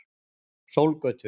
Sólgötu